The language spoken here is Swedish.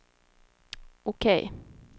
OK